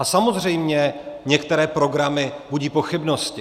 A samozřejmě některé programy budí pochybnosti.